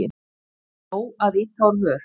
Er nóg að ýta úr vör?